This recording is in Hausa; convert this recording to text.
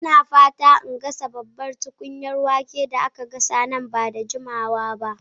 Ina fatan in dafa babban tukunyar wake da aka gasa nan ba da jimawa ba.